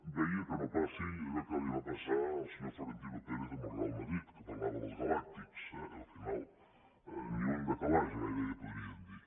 vegi que no passi allò que li va passar al senyor florentino pérez amb el real madrid que parlava dels galàctics eh al final ni un de calaix gairebé podríem dir